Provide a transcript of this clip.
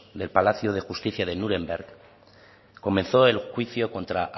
del palacio de justicia de núremberg comenzó el juicio contra